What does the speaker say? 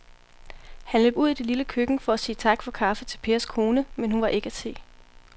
Han løb ud i det lille køkken for at sige tak for kaffe til Pers kone, men hun var ikke til at se.